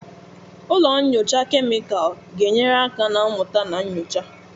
Ụlọ nyocha kemịkalụ ga-enyere aka na mmụta na nyocha.